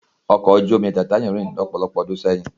Ọkọ̀ ojú omi tàìtáníkì rì ní ọ̀pọ̀lọpọ̀ ọdún sẹ́yìn.